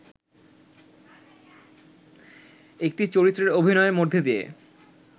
একটি চরিত্রে অভিনয়ের মধ্যে দিয়ে